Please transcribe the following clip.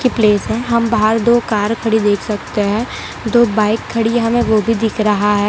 हम बाहर दो कार खड़ी देख सकते हैं दो बाइक खड़ी हमें वो भी दिख रहा है।